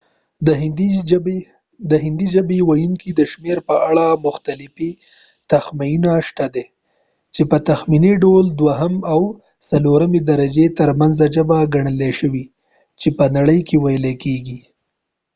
د هندی ژبی ویونکو د شمیر په اړه مختلفی تخمینونه شته دی چی په تخمینی ډول د دوهمی او څلورمی درجی تر منځ ژبه ګنل شوی چی په نړی کی ویل کیږی